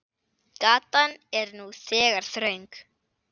Gatan er nú þegar þröng.